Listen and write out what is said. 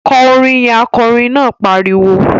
Kọ orin yẹn! Akọrin náà pariwo